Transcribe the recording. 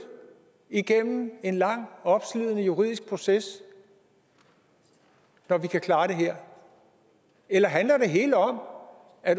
igennem en lang og opslidende juridisk proces når vi kan klare det her eller handler det hele om at